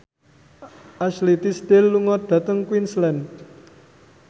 Ashley Tisdale lunga dhateng Queensland